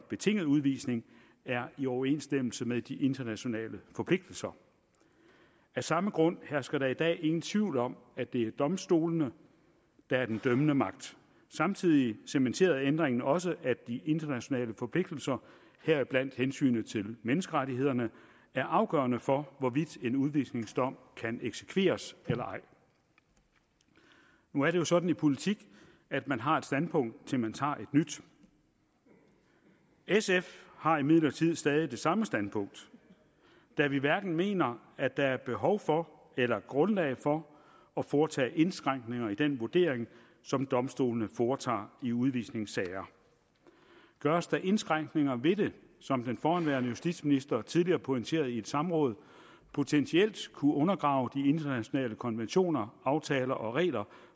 betinget udvisning er i overensstemmelse med de internationale forpligtelser af samme grund hersker der i dag ingen tvivl om at det er domstolene der er den dømmende magt samtidig cementerede ændringen også at de internationale forpligtelser heriblandt hensynet til menneskerettighederne er afgørende for hvorvidt en udvisningsdom kan eksekveres eller ej nu er det jo sådan i politik at man har et standpunkt til man tager et nyt sf har imidlertid stadig det samme standpunkt da vi hverken mener at der er behov for eller grundlag for at foretage indskrænkninger i den vurdering som domstolene foretager i udvisningssager gøres der indskrænkninger i det som den forhenværende justitsminister tidligere pointerede i et samråd potentielt kunne undergrave de internationale konventioner aftaler og regler